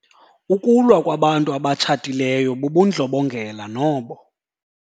Ukulwa kwabantu abatshatileyo bubundlobongela nobo.